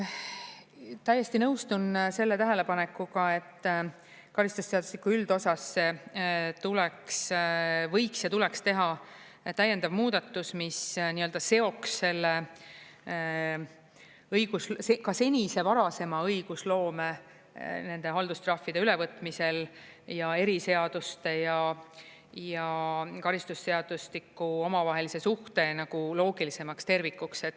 Täiesti nõustun selle tähelepanekuga, et karistusseadustiku üldosas tuleks, võiks ja tuleks teha täiendav muudatus, mis seoks selle ka senise varasema õigusloome nende haldustrahvide ülevõtmisel ja eriseaduste ja karistusseadustiku omavahelise suhte loogilisemaks tervikuks.